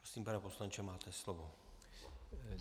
Prosím, pane poslanče, máte slovo.